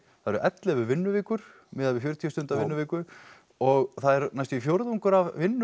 það eru ellefu vinnuvikur miðað við fjörutíu stunda vinnuviku og það er næstum fjórðungur af vinnu